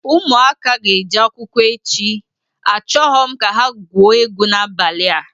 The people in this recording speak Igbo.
Ụmụaka a ga-eje akwụkwọ echi, achọghọ m ka ha gwuo egwu n'abalịa!